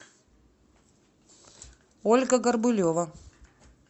ольга горбулева